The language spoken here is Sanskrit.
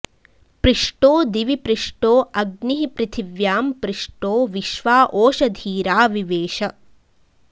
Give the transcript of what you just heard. पृष्टो दिवि पृष्टो अग्निः पृथिव्यां पृष्टो विश्वा ओषधीरा विवेश